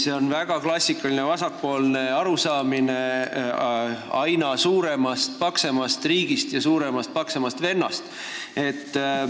See on väga klassikaline vasakpoolne arusaamine aina suuremast-paksemast riigist ja suuremast-paksemast vennast.